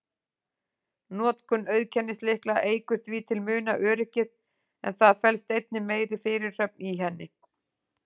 Notkun auðkennislykla eykur því til muna öryggið, en það felst einnig meiri fyrirhöfn í henni.